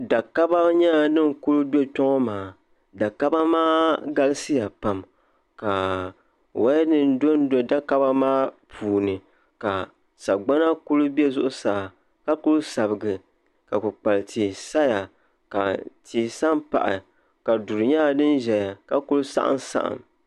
dakaba nyɛla din kuli do kpe ŋɔ maa dakaba maa galisiya pam ka wayanima dondo dakaba maa puuni ka sagbana kuli be zuɣusaa ka kuli sabigi ka kukpal'tihi saya ka tihi sa m-pahi ka duri nyɛla din ʒeya ka kuli saɣimsaɣim